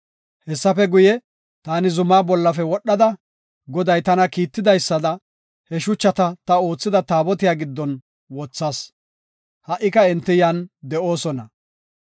Hessafe guye, taani zumaa bollafe wodhada, Goday tana kiittidaysada, he shuchata ta oothida Taabotiya giddon wothas; ha77ika enti yan de7oosona.